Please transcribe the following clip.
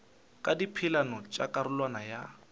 ka dipeelano tša karolwana ya